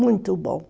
Muito bom.